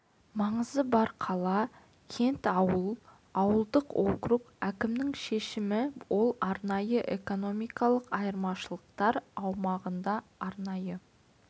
маңызы бар қала кент ауыл ауылдық округ әкімінің шешімі ал арнайы экономикалық аймақтар аумағында арнайы